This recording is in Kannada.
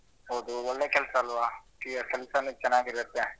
ಹೌದು ಒಳ್ಳೆ ಕೆಲ್ಸ ಅಲ್ವಾ ಕೆಲ್ಸನೂ ಚೆನ್ನಾಗಿ ಇರುತ್ತೆ.